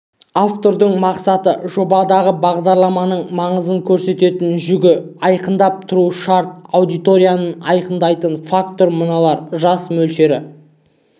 автордың мақсаты жобадағы бағдарламаның маңызын көтеретін жүгін айқындап тұруы шарт аудиторияны айқындайтын факторлар мыналар жас мөлшері